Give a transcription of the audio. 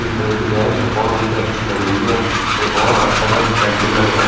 pink colour की dress बहोत उनपे अच्छी लग रही है वे बहोत अच्छा सा टेंपल लग र--